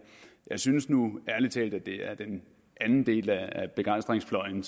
jeg synes nu ærlig talt at det er den anden del af begejstringsfløjen